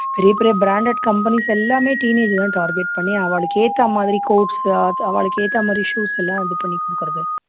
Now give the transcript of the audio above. பெரிய பெரிய branded companies எல்லாமே teenage அ தான் target பண்ணி அவாளுக்கு ஏத்த மாதிரி coats அவாளுக்கு ஏத்த மாதிரி shoes எல்லாம் இது பண்ணி கொடுக்குறது